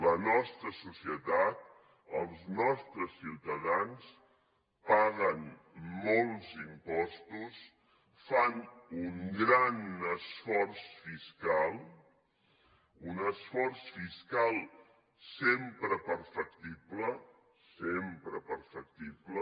la nostra societat els nostres ciutadans paguen molts impostos fan un gran esforç fiscal un esforç fiscal sempre perfectible sempre perfectible